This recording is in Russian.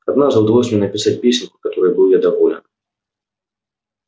однажды удалось мне написать песенку которой был я доволен